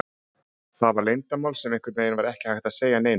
Það var leyndarmál sem einhvern veginn var ekki hægt að segja neinum.